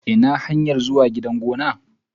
Ina hanyar zuwa gidan gona.